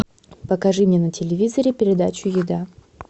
покажи мне на телевизоре передачу еда